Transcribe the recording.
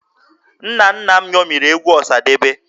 Nna nna m ṅomiri egwu Ọsadebe